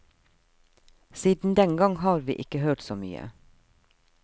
Siden den gang har vi ikke hørt så mye.